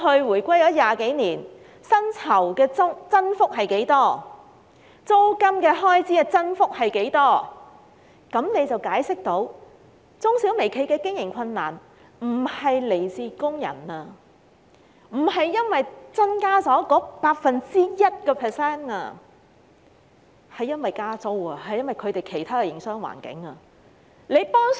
回歸20多年來，大家回顧過去薪酬及租金開支的增幅分別是多少，便能解釋中小微企的經營困難並非來自增加 1% 的薪酬開支，而是由於加租及其他營商環境的因素。